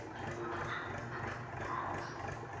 надо так что мне тут пожалуйста